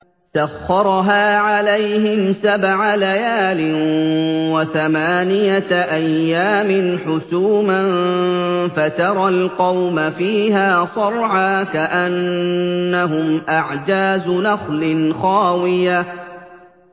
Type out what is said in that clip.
سَخَّرَهَا عَلَيْهِمْ سَبْعَ لَيَالٍ وَثَمَانِيَةَ أَيَّامٍ حُسُومًا فَتَرَى الْقَوْمَ فِيهَا صَرْعَىٰ كَأَنَّهُمْ أَعْجَازُ نَخْلٍ خَاوِيَةٍ